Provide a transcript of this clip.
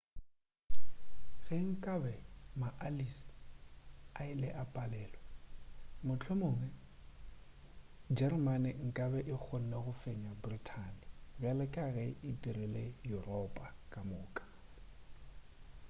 ge nkabe maallies a ile a palelwe mohlomongwe jeremane nkabe e kgonne go fenya brithani bjale ka ge e dirile yuropa ka moka